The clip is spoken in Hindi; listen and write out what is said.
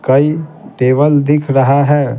कई टेबल दिख रहा है।